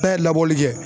N'a ye labɔli kɛ